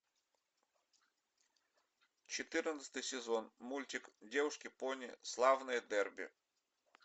четырнадцатый сезон мультик девушки пони славное дерби